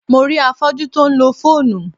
Mo rí afọ́jú tí ó ń lo fóònù.